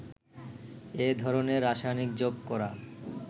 এ ধরনের রাসায়নিক যোগ করা